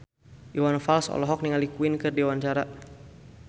Iwan Fals olohok ningali Queen keur diwawancara